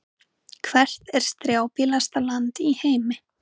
Hvert er strjálbýlasta land í heimi?